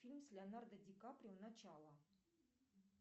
фильм с леонардо ди каприо начало